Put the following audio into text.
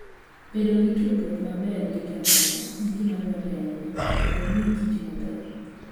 Bedo gi tudruok maber gi jomoko en gima dwarore ahinya mondo omi kich maber.